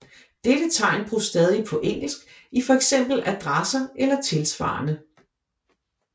Dette tegn bruges stadig på engelsk i for eksempel adresser eller tilsvarende